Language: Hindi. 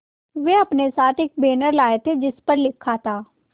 वे अपने साथ एक बैनर लाए थे जिस पर लिखा था